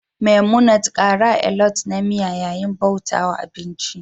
memunant kara alot na miya yayin bauta wa abinci